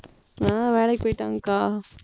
ஹம் வேலைக்கு போயிட்டாங்கக்கா.